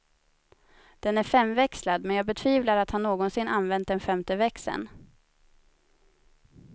Den är femväxlad, men jag betvivlar att han någonsin använt den femte växeln.